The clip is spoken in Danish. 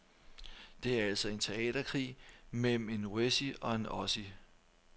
Det er altså en teaterkrig mellem en wessie og en ossie.